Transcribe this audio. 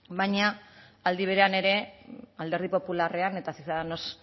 baina aldi berean ere alderdi popularrean eta ciudadanos